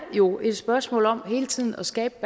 jo er et spørgsmål om hele tiden at skabe